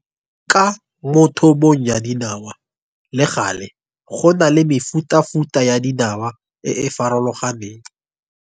Ka mo thobong ya dinawa, le gale, go na le mefutafuta ya dinawa e e forologaneng.